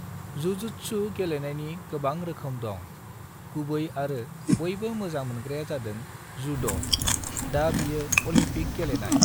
Jujutsu गेलेनायनि गोबां रोखोम दं, गुबै आरो बयबो मोजां मोनग्राया जादों जुद', दा बियो अलमपिक गेलेनाय।